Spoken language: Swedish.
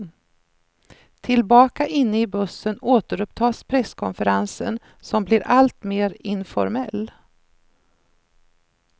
Tillbaka inne i bussen återupptas presskonferensen, som blir alltmer informell.